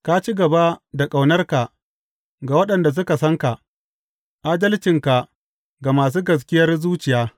Ka ci gaba da ƙaunarka ga waɗanda suka san ka, adalcinka ga masu gaskiyar zuciya.